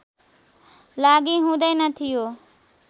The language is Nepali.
लागि हुँदैन थियो